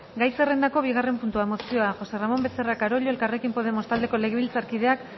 gai zerrendako bigarren puntua mozioa josé ramón becerra carollo elkarrekin podemos taldeko legebiltzarkideak